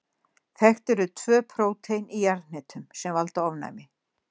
Þekkt eru tvö prótein í jarðhnetum sem valda ofnæmi.